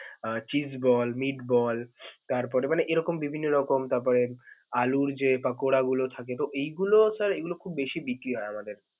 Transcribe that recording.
আহ chease ball, meat ball তারপরে এরকম বিভিন্ন রকম তারপরে আলুর যে পোকারাগুলো থাকে তো এইগুলো sir এগুলো খুব বেশি বিক্রি হয় আমাদের.